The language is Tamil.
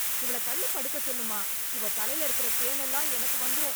இவளை தள்ளி படுக்கச் சொல்லுமா... இவ தலைல இருக்கற பேன் எல்லாம் எனக்கு வந்துரும்.